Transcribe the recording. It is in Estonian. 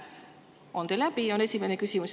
On teil häbi, on esimene küsimus.